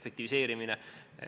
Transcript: efektiivistamine.